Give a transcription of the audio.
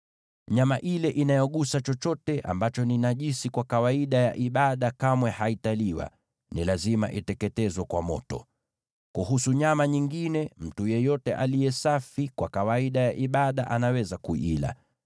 “ ‘Nyama ile inayogusa chochote ambacho ni najisi kwa kawaida ya ibada kamwe haitaliwa, ni lazima iteketezwe kwa moto. Kuhusu nyama nyingine, mtu yeyote aliye safi kwa kawaida ya ibada anaweza kuila.